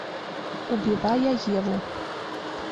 убивая еву